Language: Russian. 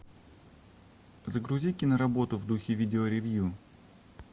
загрузи киноработу в духе видео ревью